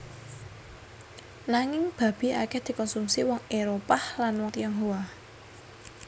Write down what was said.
Nanging babi akèh dikonsumsi wong Éropah lan wong Tionghoa